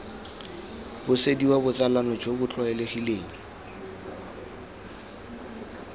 busediwa botsalano jo bo tlwaelegileng